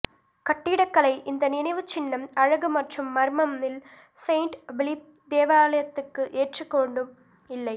கட்டிடக்கலை இந்த நினைவுச்சின்னம் அழகு மற்றும் மர்மம் இல் செயின்ட் பிலிப் தேவாலயத்துக்கு ஏற்றுக் கொண்டும் இல்லை